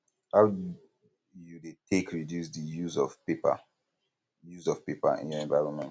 how you dey take reduce di use of paper use of paper in your environment